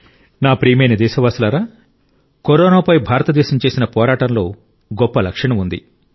నా ప్రియమైన దేశ వాసులారా కరోనాపై భారతదేశం చేసిన పోరాటంలో గొప్ప లక్షణం ఉంది